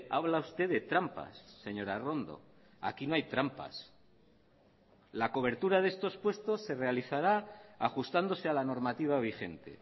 habla usted de trampas señora arrondo aquí no hay trampas la cobertura de estos puestos se realizará ajustándose a la normativa vigente